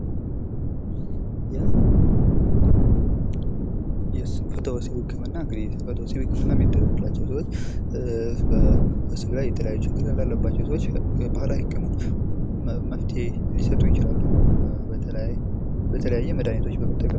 የስንፈተወሲብ ህክምና የስንፈተወሲብ ህክምና የሚደረግላቸው ሰዎች ሴክስ ላይ ችግር ያለባቸው ሰዎች ባህላዊ ህክምና መፍትሔ ሊሰጡ ይችላሉ በተለያዩ መድኃኒቶች በመጠቀም